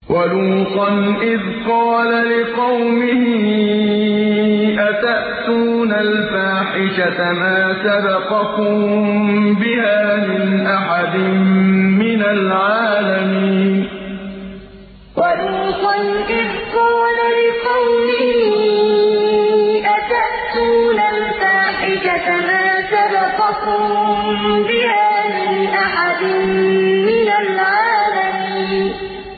وَلُوطًا إِذْ قَالَ لِقَوْمِهِ أَتَأْتُونَ الْفَاحِشَةَ مَا سَبَقَكُم بِهَا مِنْ أَحَدٍ مِّنَ الْعَالَمِينَ وَلُوطًا إِذْ قَالَ لِقَوْمِهِ أَتَأْتُونَ الْفَاحِشَةَ مَا سَبَقَكُم بِهَا مِنْ أَحَدٍ مِّنَ الْعَالَمِينَ